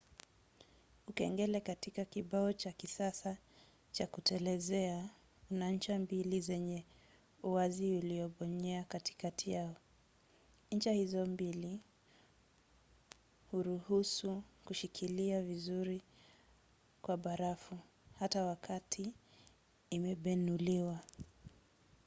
ukengele katika kibao cha kisasa cha kutelezea una ncha mbili zenye uwazi uliobonyea katikati yao. ncha hizo mbili huruhusu kushikilia vizuri kwa barafu hata wakati imebenuliwa